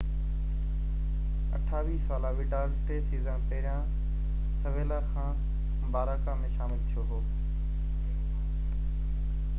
28 ساله وڊال ٽي سيزن پهريان سيويلا کان باراڪا ۾ شامل ٿيو هو